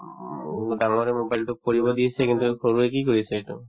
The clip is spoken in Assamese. উম, ডাঙৰে mobile তো কৰিব দিছে কিন্তু সৰুয়ে কি কৰিছে এইটো